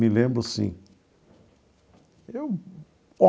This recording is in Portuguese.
Me lembro, sim eu.